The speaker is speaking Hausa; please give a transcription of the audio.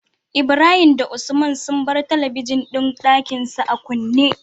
Ibrahim da usman sun bar talabijin din Ɗakinsu a kunne